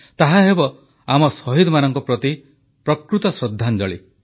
ତାହାହେବ ଆମ ଶହୀଦମାନଙ୍କ ପ୍ରତି ପ୍ରକୃତ ଶ୍ରଦ୍ଧାଞ୍ଜଳି